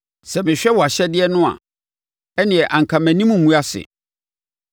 Sɛ mehwɛ wʼahyɛdeɛ no a ɛnneɛ, anka mʼanim rengu ase.